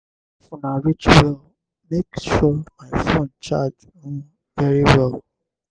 if una reach well make sure my phone charge um very well.